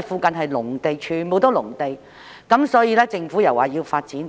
附近全部都是農地，所以政府又說要發展。